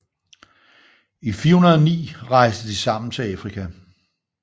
I 409 rejste de sammen til Afrika